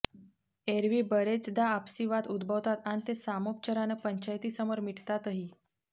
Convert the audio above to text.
एरव्ही बरेचदा आपसी वाद उद्भवतात अन् ते सामोपचारानं पंचायतीसमोर मिटतातही